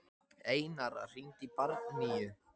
Einara, hringdu í Bjarnnýju.